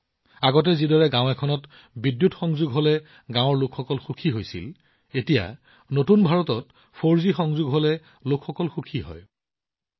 যেনে আগতে যেতিয়া গাওঁখনত বিদ্যুৎ প্ৰথমবাৰৰ বাবে উপলব্ধ হৈছিল এতিয়া নতুন ভাৰতত ৪জি পোৱাৰ সময়তো একেই সুখ অনুভূত হৈছে